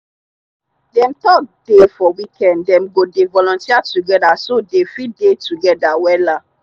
dem talk dey for weekend dem go dey volunteer togeda so dey fit dey together wella.